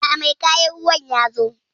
aa, mai kayan ruwan yazo